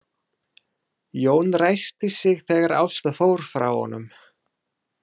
Jón ræskti sig þegar Ásta fór frá honum.